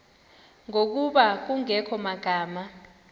ngokuba kungekho magama